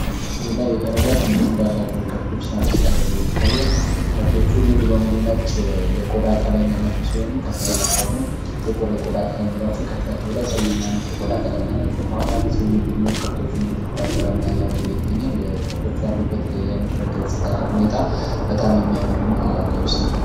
በምስሉ ላይ ረጃጅም ቀንዶች ያሏቸው ከብቶች ሳር ሲበሉ ይታያል። ከብቶቹ ሙሉ በሙሉ ነጭ የቆዳ ቀለም ያላቸው ሲሆኑ ከፊሎቹ ደግሞ ጥቁር የቆዳ ቀለም ኖሯቸው ከፊት ለፊታቸው ቀይ እና ነጭ ቆዳ ቀለም አላቸው። ከኋላ አንድ ሰውየ ከጎን ሁኖ ከብቶቹን እየተከተለ እና እያበላ ይገኛል። ከብቶቹ ያሉበት የምድረ ገጽታ ሁኔታ በጣም የሚያምር እና ልዩ ስሜት የሚፈጥር ነው።